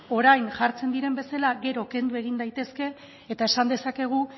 orain jartzen diren bezala gero kendu egin daitezke eta esan dezakegu